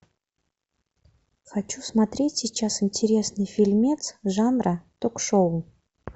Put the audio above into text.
хочу смотреть сейчас интересный фильмец жанра ток шоу